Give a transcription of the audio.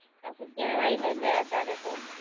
આ તો કેવાય નઈ ભૈ અતારેતો!